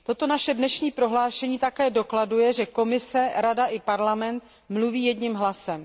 Naše dnešní prohlášení také dokladuje, že Komise, Rada i Parlament mluví jedním hlasem.